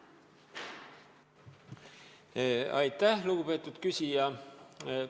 Aitäh, lugupeetud küsija!